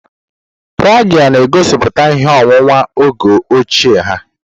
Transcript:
Praghe na-egosiputa ihe owuwu oge ochie ha.